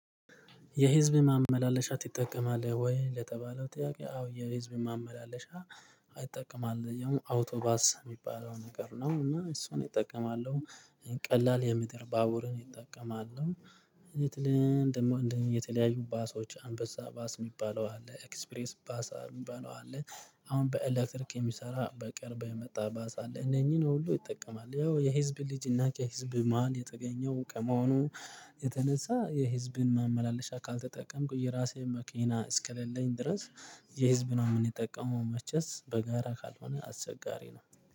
የህዝብ ማመላለሻ ትጠቀማለህ? ወይ ለተባለው ጥያቄ አዎ የህዝብ ማመላለሻ አጠቀማለው ያው አውቶባስ የሚባለው ነገር ነው እና እሱን እጠቀማለሁ። ቀላል የምድር ባቡርን ይጠቀማሉ። እንዴት? ልንደማው እንደምን የተለያዩ ባሶች አንበሳ ባስ የሚባለው አለ ኤክስፕሬስ ባሳ የሚባለው አለ። አሁን በኤሌክትሪክ የሚሰራ በቅርብ የመጣ ባሳ አለ። እነኚህን ሁሉ ይጠቀማል ያው የህዝብን ልጅ እና ከህዝብ መሃል የተገኘው እቃመሆኑ። የተነሳ የህዝብን ማመላለሻ ካልተጠቀምኩኝ የራሴን መኪና እስክልልኝ ድረስ። የህዝብ ነው የምንጠቀመው መቼስ በጋራ ካልሆነ አስቸጋሪ ነው።